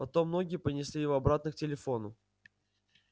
потом ноги понесли его обратно к телефону